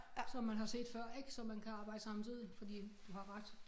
Som man har set før ik så man kan arbejde samtidigt fordi du har ret